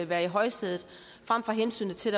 være i højsædet frem for hensynet til